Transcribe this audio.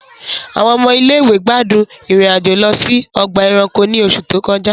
Àwọn ọmọ ilé ìwé gbádùn ìrìn-àjò lọ sí ọgbà ẹranko ní oṣù tó kọjá